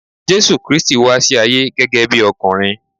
Jésù Kristi wá sí ayé gẹ́gẹ́ bí ọkùnrin.